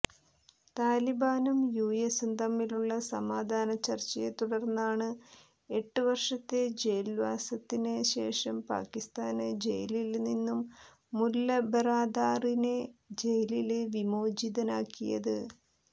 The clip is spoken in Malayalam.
താലിബാനും യുഎസും തമ്മിലുള്ളസമാധാന ചര്ച്ചയെത്തുടര്ന്നാണ് ഏട്ട് വര്ഷത്തെ ജയില്വാസത്തിന് ശേഷം പാകിസ്ഥാന് ജയിലില് നിന്നും മുല്ല ബറാദാറിനെ ജയില് വിമോചിതനാക്കിയത്